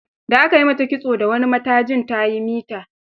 Da aka yi mata kitso da wani matajin ta yi ta mita.